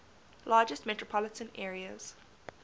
largest metropolitan areas